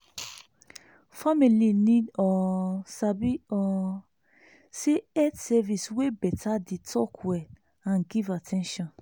family need um sabi um say health service wey beta dey talk well and give at ten tion.